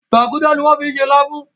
Gbágudá ní wón fí ṣe lafun.